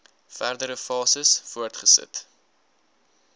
verdere fases voortgesit